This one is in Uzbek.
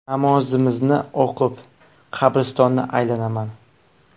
Namozimni o‘qib, qabristonni aylanaman.